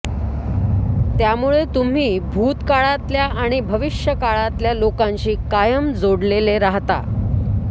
त्यामुळे तुम्ही भूतकाळातल्या आणि भविष्यकाळातल्या लोकांशी कायम जोडलेले राहता